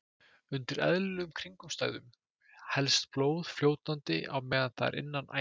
Undir eðlilegum kringumstæðum helst blóð fljótandi á meðan það er innan æða.